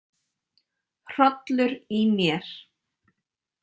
Hrollur í mér.